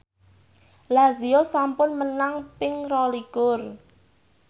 Lazio sampun menang ping rolikur